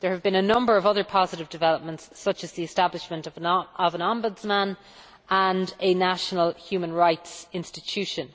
There have been a number of other positive developments, such as the establishment of an Ombudsman and a National Human Rights Institution.